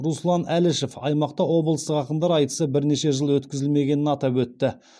руслан әлішев аймақта облыстық ақындар айтысы бірнеше жыл өткізілмегенін атап өтті